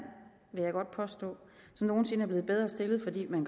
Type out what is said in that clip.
vil jeg godt påstå som nogen sinde er blevet bedre stillet fordi man